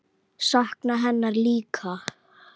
Sakna hennar líka.